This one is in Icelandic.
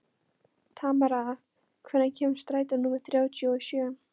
Tamara, hvenær kemur strætó númer þrjátíu og sjö?